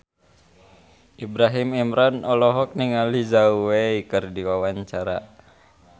Ibrahim Imran olohok ningali Zhao Wei keur diwawancara